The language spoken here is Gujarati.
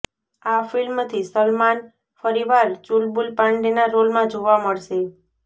આ ફિલ્મથી સલમાન ફરીવાર ચુલબુલ પાંડેના રોલમાં જોવા મળશે